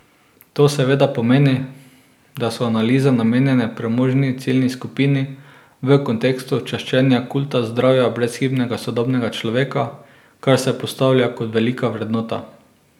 To seveda pomeni, da so analize namenjene premožni ciljni skupini, v kontekstu čaščenja kulta zdravja brezhibnega sodobnega človeka, kar se postavlja kot velika vrednota.